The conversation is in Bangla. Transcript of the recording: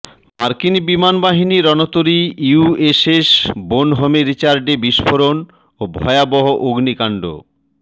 মার্কিন বিমানবাহী রণতরী ইউএসএস বোনহোম রিচার্ডে বিস্ফোরণ ও ভয়াবহ অগ্নিকাণ্ড